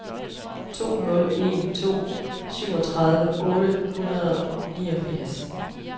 to nul en to syvogtredive otte hundrede og niogfirs